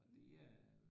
Og det er